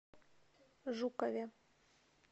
жукове